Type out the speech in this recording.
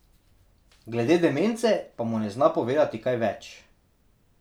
Glede demence pa mu ne zna povedati kaj več.